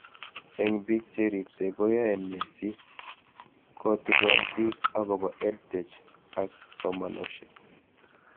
Eng' pik che ripsei koyae nee si kotikon pik akopo eduTech ak simoshek